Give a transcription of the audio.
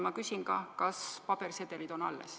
Ma küsin ka, kas pabersedelid on alles.